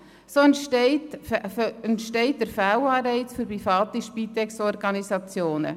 So entsteht der Fehlanreiz für private Spitex-Organisationen.